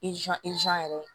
yɛrɛ